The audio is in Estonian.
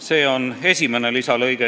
See oleks esimene uus lõige.